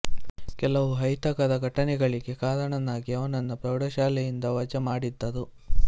ಕೆಲವು ಅಹಿತಕರ ಘಟನೆಗಳಿಗೆ ಕಾರಣನಾಗಿ ಅವನನ್ನು ಪ್ರೌಢಶಾಲೆಯಿಂದ ವಜಾ ಮಾಡಿದ್ದರು